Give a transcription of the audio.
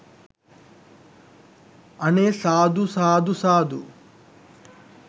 අනේ සාදු සාදු සාදු